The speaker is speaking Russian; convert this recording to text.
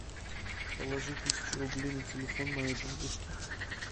положи тысячу рублей на телефон моей бабушке